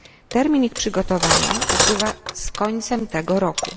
Termin ich przygotowania upływa z końcem tego roku.